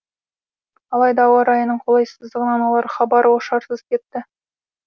алайда ауа райының қолайсыздығынан олар хабар ошарсыз кетті